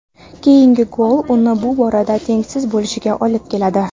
Keyingi gol uni bu borada tengsiz bo‘lishiga olib keladi.